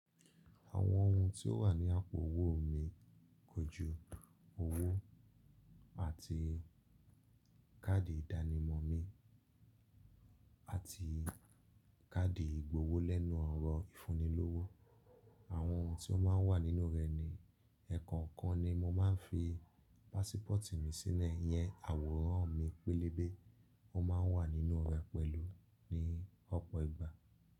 Àwọn ohun tí ó wà ní àpò owó mi kójú owó àti káàdì ìdánimọ̀ mi àti káàdì ìgbowó lẹ́nu ọ̀rọ̀ ìfúnilówó. Àwọn ohun tí ó máa ń wà nínú rẹ̀ ni ẹ̀ẹ̀kọ̀kan ni mo máa ń fi pásípọ̀tì mi sínú ẹ. Yẹn àwòrán mi pélébé ó máa ń wà nínú rẹ̀ pẹ̀lú ní ọ̀pọ̀ ìgbà.